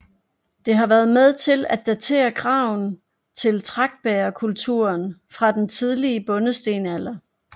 Det har været med til at datere graven til tragtbægerkulturen fra den tidlige bondestenalder